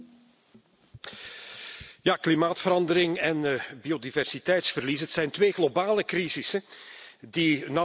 Ja, klimaatverandering en biodiversiteitsverlies, het zijn twee globale crisissen die nauw met elkaar verstrengeld zijn.